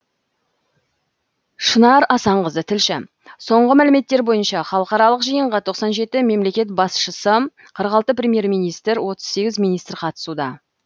шынар асанқызы тілші соңғы мәліметтер бойынша халықаралық жиынға тоқсан жеті мемлекет басшысы қырық алты премьер министр отыз сегіз министр қатысуда